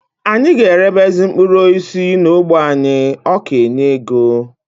Anyị ga erebezi mkpụrụ osisi n'ógbè anyị, ọ ka enye ego